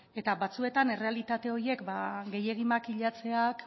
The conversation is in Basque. eta batzuetan errealitate horiek gehiegi makilatzeak